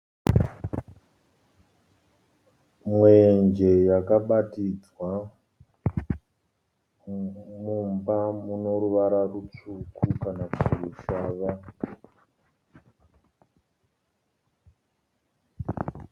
Mwenje yakabatidzwa mumba mune ruvara rutsvuku kana kuti rushava.